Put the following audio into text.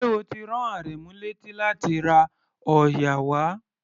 Ṣé o ti rán Àrẹ̀mú léti láti ra òòyà wá?